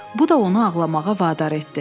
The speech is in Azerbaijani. Bu da onu ağlamağa vadar etdi.